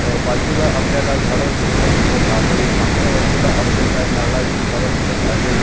अ बाजूला आपल्याला झाड झुडप दिसत आहे. मागच्या बाजूला आपल्याला नारळाची झाड दिसत आहे.